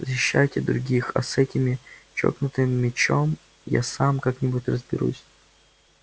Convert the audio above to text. защищайте других а с этим чокнутым мячом я сам как-нибудь разберусь